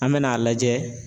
An bɛn'a lajɛ